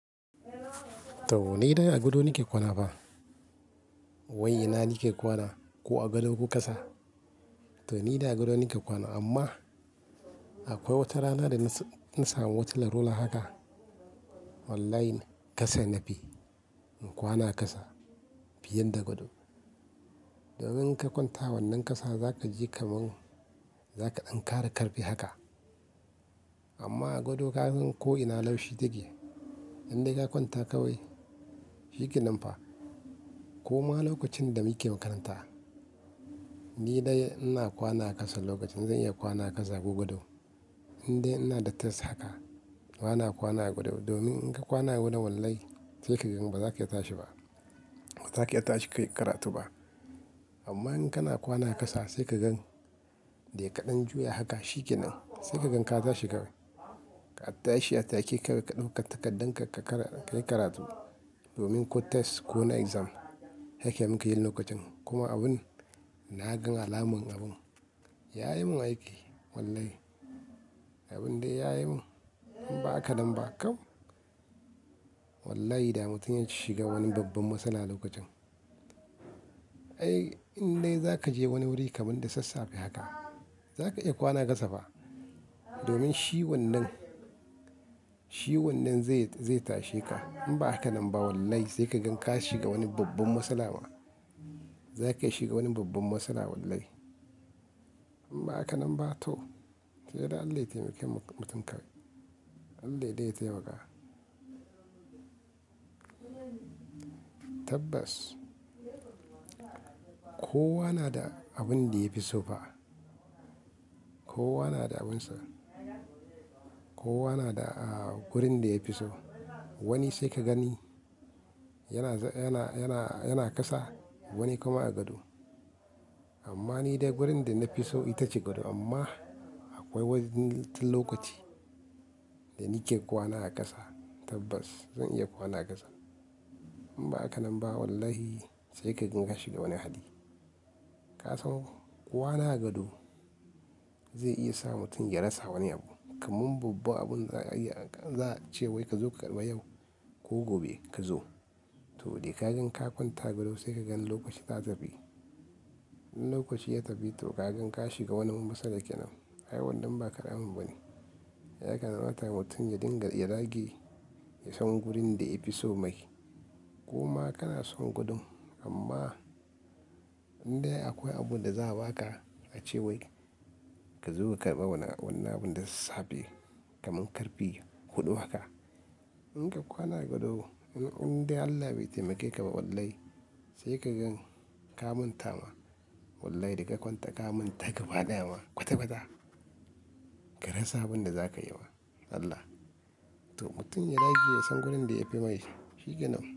To ni dai a gado nike kwana fa. Wai ina nike kwana ko a gado ko ƙasa. To ni dai a gado nike kwana amma akwai watarana da na samu wata larura haka. Wallahi ƙasa nafi in kwana ƙasa fiye da gado. Domin in ka kwanta wannan ƙasa zaka ji kaman, za ka dan kara karfi haka. Amma a gado ka gan ko ina laushi take. Indai ka kwanta kawai, shi ke nan fa. Kuma lokacin da muke makaranta, ni dai ina kwana ƙasa lokacin zan iya kwana ƙasa ko gado. Indai ina da test haka bana kwana a gado. Domin in ka kwana gado na wallahi sai ka gan ba za ka iya tashi ba, ba za ka iya tashi ka yi karatu ba. Amma in kana kwana ƙasa sai ka gan dai kaɗan juya haka shi ke nan. Sai ka gan ka tashi ka tashi a take ka ɗauka takardar ka ka yi karatu. Domin ko test ko na exam haka muke yin lokacin. Kuma abun na gan alamun abun ya yi mun aiki. Wallahi abun dai ya yi mun. In ba haka nan ba kam wallahi da mutum ya shiga wani babban matsala lokacin. Ai indai za ka je wani wuri kaman da sassafe haka, za ka iya kwana ƙasa fa. Domin shi wannan, shi wannan zai, zai tashe ka. In ba haka nan ba wallahi sai ka gan ka shiga wani babban matsala ma. Za ka iya shiga wani babban matsala wallahi. In ba haka nan ba toh sai dai Allah ya taimake mutum kawai. Allah dai ya taimaka. Tabbas kowa na da abun da ya fi so fa. Kowa na da abin sa. Kowa na da gurin da ya fi so. Wani sai ka gani yana, yana, yana, yana ƙasa wani kuma a gado. Amma ni dai wurin da na fi so ita ce gado. Amma akwai wani lokaci da nike kwana a ƙasa. Tabbas zan iya kwana ƙasa. In ba haka nan ba wallahi sai ka gan ka shiga wani hali. Ka san kwana a gado zai iya sa mutum ya rasa wani abu. Kamin babba abun za a iya, za a ce wai ka zo ka karɓa yau ko gobe ka zo. Toh dai ka gan ka kwanta gado sai ka gan lokaci ta tafi. In lokaci ya tafi toh ka gan ka shiga wani matsala ke nan. Ai wannan ba karamin ba ne. Yakan rataya mutum ya dinga, ya rage ya san wurin da ya fi so mai. Kuma kana son gudun amma indai akwai abun da za a ba ka a ce wai ka zo ka karɓa wannan, wannan abun da sassafe kaman karfe huɗu haka. In ka kwana gado in, indai Allah bai taimake ka ba wallahi sai ka gan ka manta ma. Wallahi dai ka kwanta ka manta gbaɗaya ma. Kwata kwata ka rasa abin da za ka yi ma. Allah. Toh mutum ya rage ya san wurin da yafi mai, shi ke nan.